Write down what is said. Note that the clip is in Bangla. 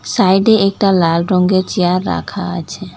সাইডে একটা লাল রঙ্গের চেয়ার রাখা আছে।